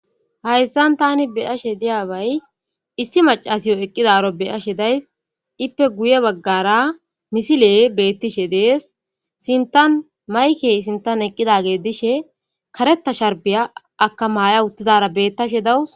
Hayssan taani be7ashe diyabay issi maccasiw eqqidaaro be7ashe days. Ippe guye baggara misiley beettishe de7ees. Sinttan maykey sintan eqqidage dishe karetta sharbbiya akka Maya uttidaara beettashe da7awus.